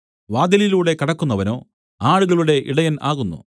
വാതിലിലൂടെ കടക്കുന്നവനോ ആടുകളുടെ ഇടയൻ ആകുന്നു